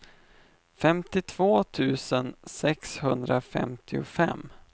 femtiotvå tusen sexhundrafemtiofem